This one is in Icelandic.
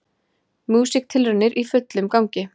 Músíktilraunir í fullum gangi